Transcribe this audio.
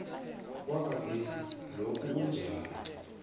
kwagadesi lokhu kunjalo